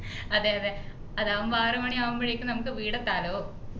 അതെ അതെ അതാവുമ്പോ ആറു മണി ആവുമ്പോയേക് നമുക്ക് വീട് എത്താലോ